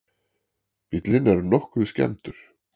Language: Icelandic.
Bíllinn er nokkuð skemmdur